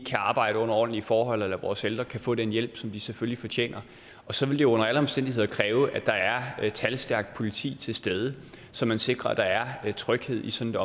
kan arbejde under ordentlige forhold eller at vores ældre kan få den hjælp som de selvfølgelig fortjener og så vil det under alle omstændigheder kræve at der er talstærkt politi til stede så man sikrer at der er tryghed i sådan